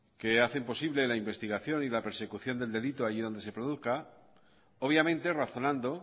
que hacen posible la investigación y la persecución del delito allí donde se produzca obviamente razonando